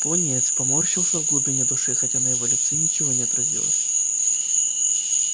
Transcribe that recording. пониетс поморщился в глубине души хотя на его лице ничего не отразилось